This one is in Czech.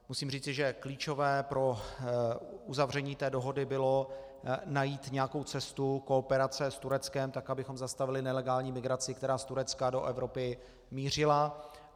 Musím říci, že klíčové pro uzavření té dohody bylo najít nějakou cestu kooperace s Tureckem, tak abychom zastavili nelegální migraci, která z Turecka do Evropy mířila.